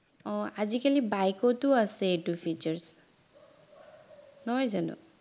অ আজিকালি bike টো আছে এইটো features নহয় জানো